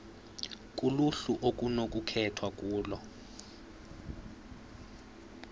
kuluhlu okunokukhethwa kulo